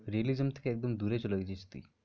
realism থেকে একদম দূরে চলে গেছিস তুই।